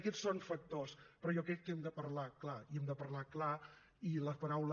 aquests són factors però jo crec que hem de parlar clar i hem de parlar clar i la paraula